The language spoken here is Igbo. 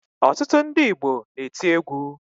Ọtụtụ ndị Igbo na-eti egwu